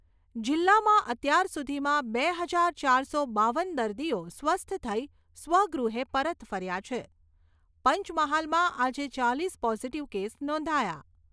જિલ્લામાં અત્યાર સુધીમાં બે હજાર ચારસો બાવન દર્દીઓ સ્વસ્થ થઈ સ્વગૃહે પરત ફર્યા છે. પંચમહાલમાં આજે ચાલીસ પોઝિટિવ કેસ નોંધાયા.